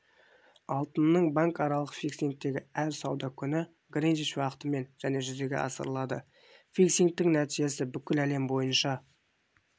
алтынның банкаралық фиксингі әр сауда күні гринвич уақытымен және жүзеге асырылады фиксингтің нәтижесі бүкіл әлем бойынша